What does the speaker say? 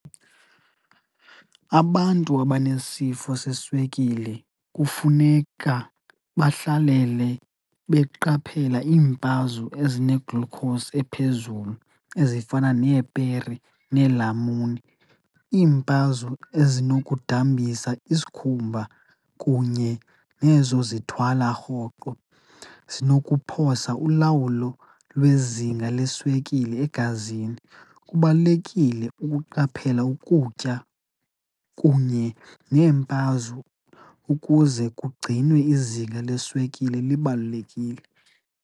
Abantu abanesifo seswekile kufuneka bahlalele beqaphela iimpazo ezine-glucose ephezulu ezifana neepere neelamuni. Iimpazo ezinokudambisa isikhumba kunye nezo zithwala rhoqo zinokuphosa ulawulo lwezinga leswekile egazini, kubalulekile ukuqaphela ukutya kunye neempazo ukuze kugcinwe izinga leswekile libalulekile.